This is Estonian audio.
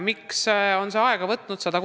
Miks on see aega võtnud?